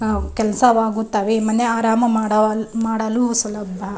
ಹ ಕೆಲಸವಾಗುತ್ತವೆ ಮನೆ ಆರಾಮ ಮಾಡ ಮಾಡಲು ಸುಲಭ.